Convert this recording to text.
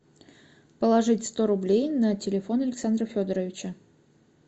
положить сто рублей на телефон александра федоровича